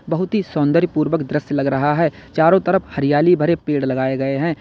बहुत ही सुंदर पूर्वक दृश्य लग रहा है चारों तरफ हरियाली भरे पेड़ लगाए गए हैं।